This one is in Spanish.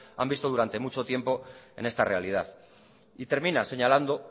han visto durante mucho tiempo en esta realidad y termina señalando